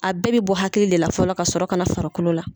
A bɛɛ bɛ bɔ hakili de la fɔlɔ ka sɔrɔ ka na farikolo la.